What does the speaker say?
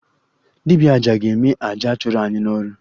Dibia aja ga-eme aja a chụrụ anyị n'ọrụ